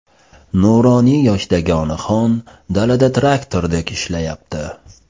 Nuroniy yoshdagi onaxon dalada traktordek ishlayapti!